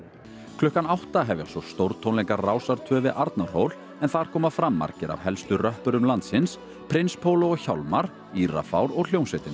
klukkan átta hefjast svo stórtónleikar Rásar tvö við Arnarhól en þar koma fram margir af helstu röppurum landsins prins Póló og Hjálmar Írafár og hljómsveitin